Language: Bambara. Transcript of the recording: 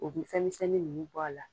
U bɛ fɛn misɛnsɛnni ninnu bɔ a la.